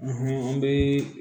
an bɛ